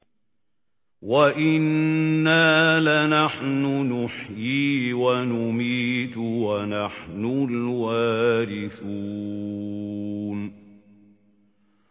وَإِنَّا لَنَحْنُ نُحْيِي وَنُمِيتُ وَنَحْنُ الْوَارِثُونَ